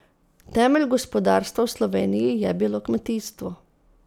Temelj gospodarstva v Sloveniji je bilo kmetijstvo.